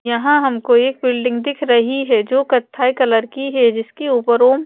यहाँ हमको एक बिल्डिंग दिख रही है जो कथाई कलर की है जिसके ऊपर ओम --